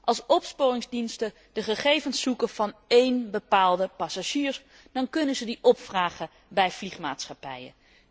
Als opsporingsdiensten de gegevens zoeken van één bepaalde passagier, dan kunnen ze die opvragen bij vliegmaatschappijen.